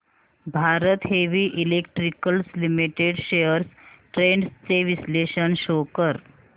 Bharat heavy electricals limited shares trends चे विश्लेषण show कर